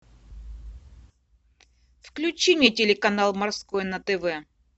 включи мне телеканал морской на тв